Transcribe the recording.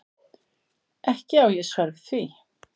Ekki á ég svar við því.